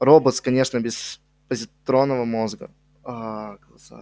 роботс конечно без позитронного мозга аа глаза